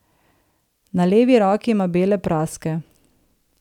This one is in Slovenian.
Na levi roki ima bele praske.